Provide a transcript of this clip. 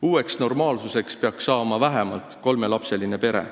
Uueks normaalsuseks peaks saama vähemalt kolmelapseline pere.